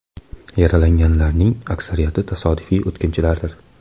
Yaralanganlarning aksariyati tasodifiy o‘tkinchilardir.